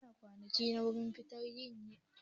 Yan kwanakin nan ruwan fenti yayi tsada da yawa